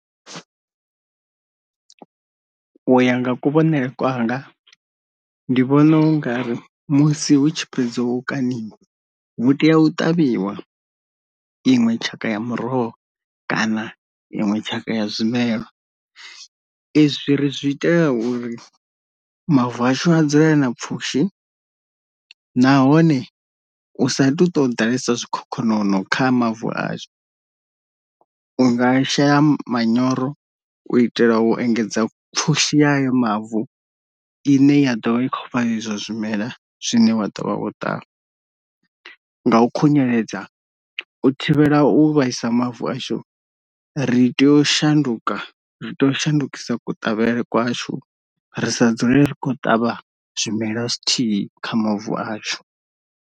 U ya nga kuvhonele kwanga ndi vhona ungari musi hu tshi fhedzo u kaniwa hu tea u ṱavhiwa iṅwe tshaka ya muroho kana iṅwe tshaka ya zwimela. Izwi ri zwi itela uri mavu ashu a dzule a na pfhushi nahone u sa tu to ḓalesa zwikhokhonono kha mavu ashu, unga shela manyoro u itela u engedza pfhushi ya ayo mavu ine ya ḓovha ikho fha izwo zwimela zwine wa dovha o tavha, nga u khunyeledza u thivhela u vhaisa mavu ashu ri tea u shanduka ri tea u shandukisa kuṱavhele kwashu ri sa dzule ri khou ṱavha zwimela zwithihi kha mavu ashu.